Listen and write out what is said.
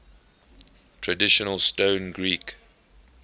traditional stone greek